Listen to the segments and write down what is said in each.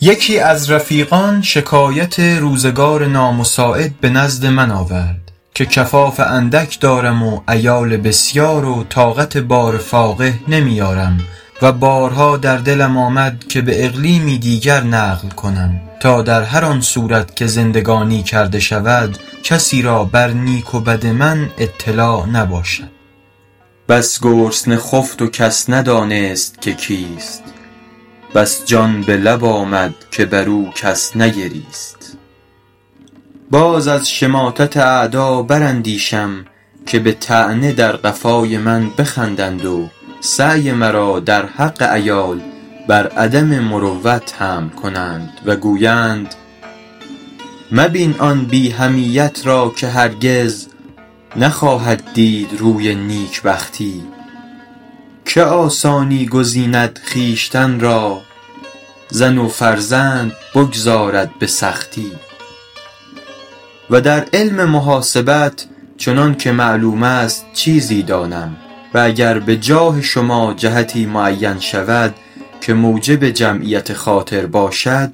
یکی از رفیقان شکایت روزگار نامساعد به نزد من آورد که کفاف اندک دارم و عیال بسیار و طاقت بار فاقه نمی آرم و بارها در دلم آمد که به اقلیمی دیگر نقل کنم تا در هر آن صورت که زندگانی کرده شود کسی را بر نیک و بد من اطلاع نباشد بس گرسنه خفت و کس ندانست که کیست بس جان به لب آمد که بر او کس نگریست باز از شماتت اعدا بر اندیشم که به طعنه در قفای من بخندند و سعی مرا در حق عیال بر عدم مروت حمل کنند و گویند مبین آن بی حمیت را که هرگز نخواهد دید روی نیکبختی که آسانی گزیند خویشتن را زن و فرزند بگذارد به سختی و در علم محاسبت چنان که معلوم است چیزی دانم و گر به جاه شما جهتی معین شود که موجب جمعیت خاطر باشد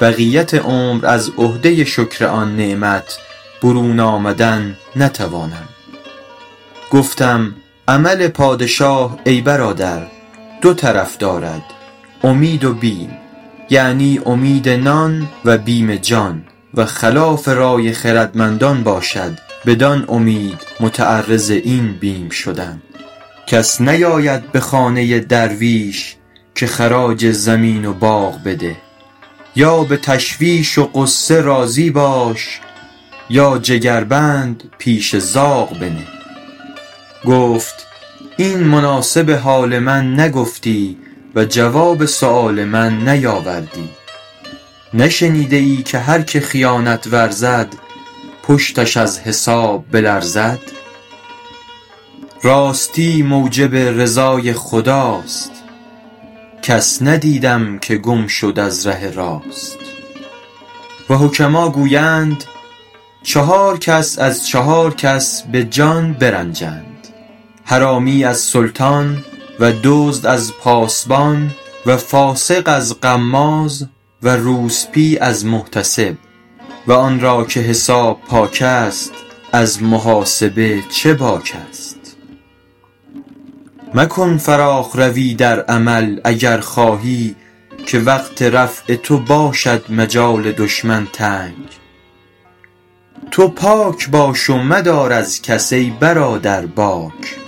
بقیت عمر از عهده شکر آن نعمت برون آمدن نتوانم گفتم عمل پادشاه ای برادر دو طرف دارد امید و بیم یعنی امید نان و بیم جان و خلاف رای خردمندان باشد بدان امید متعرض این بیم شدن کس نیاید به خانه درویش که خراج زمین و باغ بده یا به تشویش و غصه راضی باش یا جگربند پیش زاغ بنه گفت این مناسب حال من نگفتی و جواب سؤال من نیاوردی نشنیده ای که هر که خیانت ورزد پشتش از حساب بلرزد راستی موجب رضای خداست کس ندیدم که گم شد از ره راست و حکما گویند چهار کس از چهار کس به جان برنجند حرامی از سلطان و دزد از پاسبان و فاسق از غماز و روسبی از محتسب و آن را که حساب پاک است از محاسب چه باک است مکن فراخ روی در عمل اگر خواهی که وقت رفع تو باشد مجال دشمن تنگ تو پاک باش و مدار از کس ای برادر باک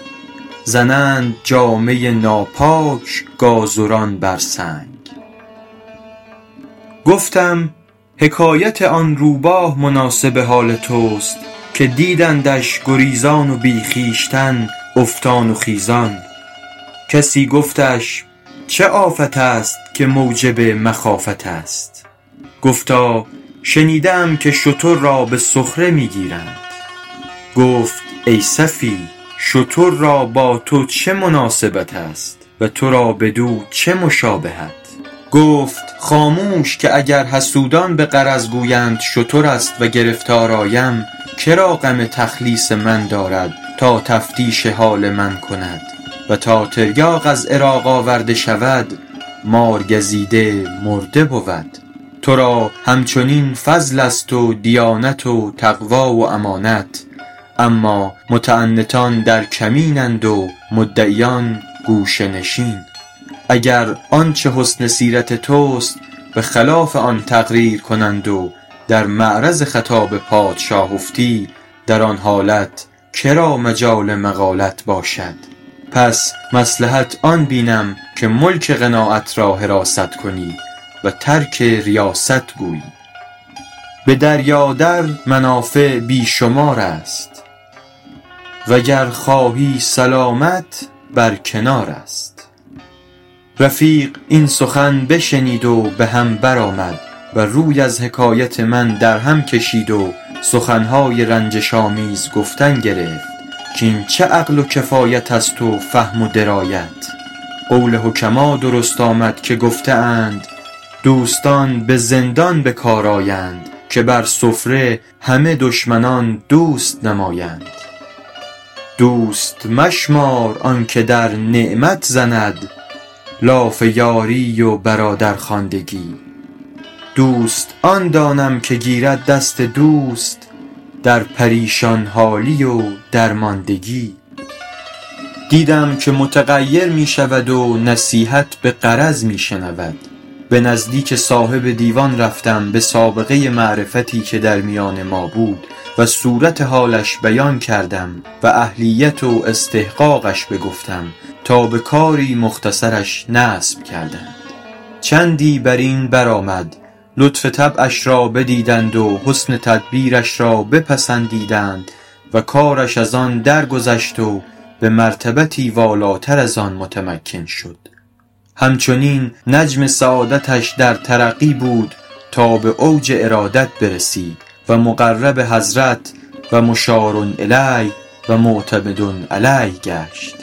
زنند جامه ناپاک گازران بر سنگ گفتم حکایت آن روباه مناسب حال توست که دیدندش گریزان و بی خویشتن افتان و خیزان کسی گفتش چه آفت است که موجب مخافت است گفتا شنیده ام که شتر را به سخره می گیرند گفت ای سفیه شتر را با تو چه مناسبت است و تو را بدو چه مشابهت گفت خاموش که اگر حسودان به غرض گویند شتر است و گرفتار آیم که را غم تخلیص من دارد تا تفتیش حال من کند و تا تریاق از عراق آورده شود مارگزیده مرده بود تو را هم چنین فضل است و دیانت و تقوی و امانت اما متعنتان در کمین اند و مدعیان گوشه نشین اگر آنچه حسن سیرت توست به خلاف آن تقریر کنند و در معرض خطاب پادشاه افتی در آن حالت مجال مقالت باشد پس مصلحت آن بینم که ملک قناعت را حراست کنی و ترک ریاست گویی به دریا در منافع بی شمار است و گر خواهی سلامت بر کنار است رفیق این سخن بشنید و به هم بر آمد و روی از حکایت من در هم کشید و سخن های رنجش آمیز گفتن گرفت کاین چه عقل و کفایت است و فهم و درایت قول حکما درست آمد که گفته اند دوستان به زندان به کار آیند که بر سفره همه دشمنان دوست نمایند دوست مشمار آن که در نعمت زند لاف یاری و برادرخواندگی دوست آن دانم که گیرد دست دوست در پریشان حالی و درماندگی دیدم که متغیر می شود و نصیحت به غرض می شنود به نزدیک صاحب دیوان رفتم به سابقه معرفتی که در میان ما بود و صورت حالش بیان کردم و اهلیت و استحقاقش بگفتم تا به کاری مختصرش نصب کردند چندی بر این بر آمد لطف طبعش را بدیدند و حسن تدبیرش را بپسندیدند و کارش از آن درگذشت و به مرتبتی والاتر از آن متمکن شد هم چنین نجم سعادتش در ترقی بود تا به اوج ارادت برسید و مقرب حضرت و مشارالیه و معتمد علیه گشت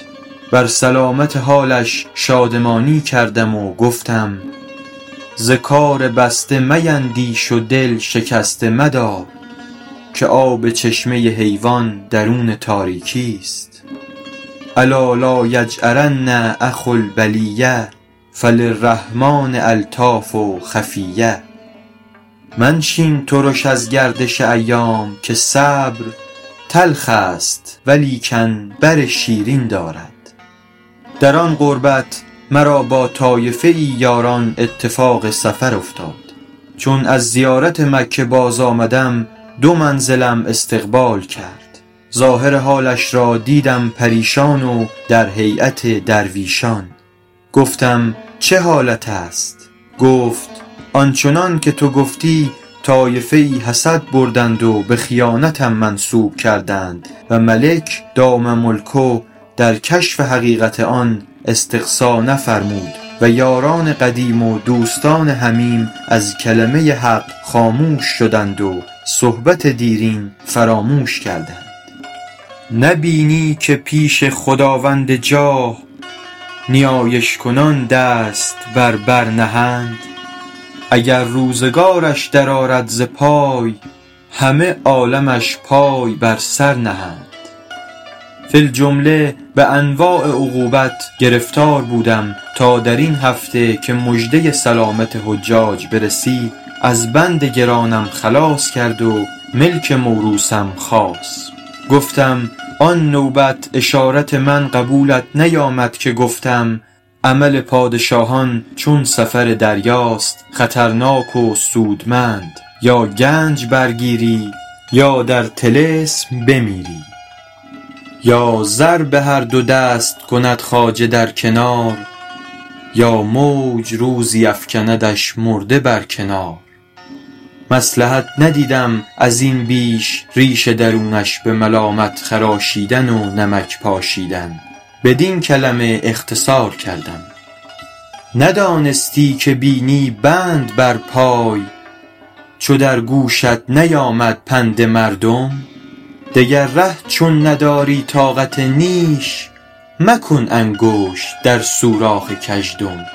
بر سلامت حالش شادمانی کردم و گفتم ز کار بسته میندیش و دل شکسته مدار که آب چشمه حیوان درون تاریکی است الا لایجأرن اخو البلیة فللرحمٰن الطاف خفیة منشین ترش از گردش ایام که صبر تلخ است ولیکن بر شیرین دارد در آن قربت مرا با طایفه ای یاران اتفاق سفر افتاد چون از زیارت مکه باز آمدم دو منزلم استقبال کرد ظاهر حالش را دیدم پریشان و در هیأت درویشان گفتم چه حالت است گفت آن چنان که تو گفتی طایفه ای حسد بردند و به خیانتم منسوب کردند و ملک دام ملکه در کشف حقیقت آن استقصا نفرمود و یاران قدیم و دوستان حمیم از کلمه حق خاموش شدند و صحبت دیرین فراموش کردند نه بینی که پیش خداوند جاه نیایش کنان دست بر بر نهند اگر روزگارش در آرد ز پای همه عالمش پای بر سر نهند فی الجمله به انواع عقوبت گرفتار بودم تا در این هفته که مژده سلامت حجاج برسید از بند گرانم خلاص کرد و ملک موروثم خاص گفتم آن نوبت اشارت من قبولت نیامد که گفتم عمل پادشاهان چون سفر دریاست خطرناک و سودمند یا گنج برگیری یا در طلسم بمیری یا زر به هر دو دست کند خواجه در کنار یا موج روزی افکندش مرده بر کنار مصلحت ندیدم از این بیش ریش درونش به ملامت خراشیدن و نمک پاشیدن بدین کلمه اختصار کردیم ندانستی که بینی بند بر پای چو در گوشت نیامد پند مردم دگر ره چون نداری طاقت نیش مکن انگشت در سوراخ گژدم